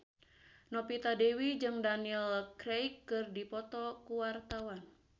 Novita Dewi jeung Daniel Craig keur dipoto ku wartawan